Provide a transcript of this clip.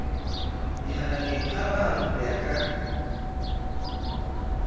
mehananeng hararo ya ho ka